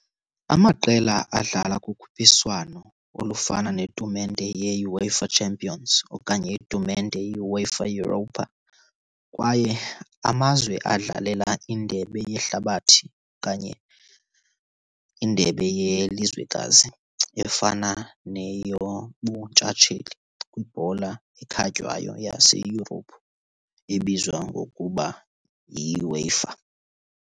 Amaqela adlala kukhuphiswano olufana netumente yeUEFA Champions okanye itumente yeUEFA Europa, kwaye amazwe adlalela indebe yeHlabathi okanye indebe yelizwekazi efana neyobuntshatsheli kwibhola ekhatywayo yaseYurophu ebizwa ngokuba yiUEFA.